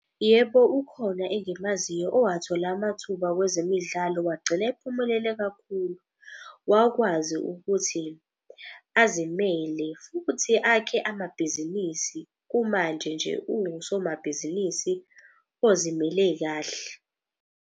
Yebo, ukhona engimaziyo owathola amathuba kwezemidlalo wagcina ephumelele kakhulu. Wakwazi ukuthi azimele futhi akhe amabhizinisi, kumanje nje uwusomabhizinisi ozimele kahle.